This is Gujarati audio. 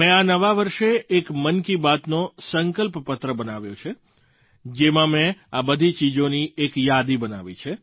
મેં આ નવા વર્ષે એક મન કી બાતનો સંકલ્પપત્ર બનાવ્યો છે જેમાં મેં આ બધી ચીજોની એક યાદી બનાવી છે